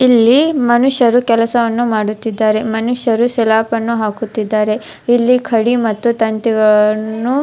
ಇಲ್ಲಿ ಮನುಷ್ಯರು ಕೆಲಸವನ್ನು ಮಾಡುತ್ತಿದ್ದಾರೆ ಮನುಷ್ಯರು ಸ್ಲೇಪನ್ನು ಹಾಕುತ್ತಿದ್ದಾರೆ ಇಲ್ಲಿ ಕಡಿ ಮತ್ತು ತಂತಿಗಳನ್ನು --